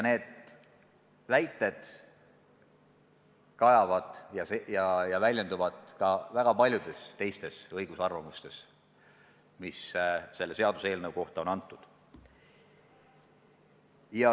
Need argumendid kõlavad ka väga paljudes teistes õiguslikes arvamustes, mis selle seaduse kohta on antud.